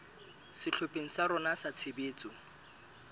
sehlopheng sa rona sa tshebetso